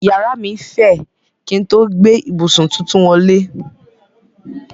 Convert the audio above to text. Yàrá mí fẹ̀ kín n tó gbé ìbùsùn tuntun wọlé.